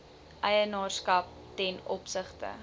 eienaarskap ten opsigte